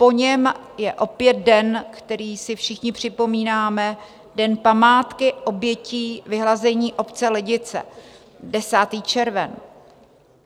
Po něm je opět den, který si všichni připomínáme, Den památky obětí vyhlazení obce Lidice, 10. červen.